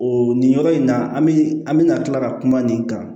O nin yɔrɔ in na an bɛ an bɛna tila ka kuma nin kan